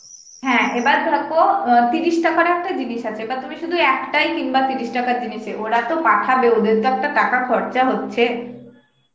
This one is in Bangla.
হ্যাঁ এবার দেখো তিরিশ টাকার একটা জিনিস আছে, এবার তুমি শুধু একটাই কিনবে তিরিশ টাকার জিনিস এ, ওরা তো পাঠাবে, ওদের তো একটা টাকা খরচা হচ্ছে